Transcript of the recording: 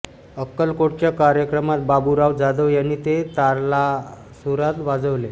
अक्कलकोटच्या कार्यक्रमात बाबूराव जाधव यांनी ते तालासुरात वाजवले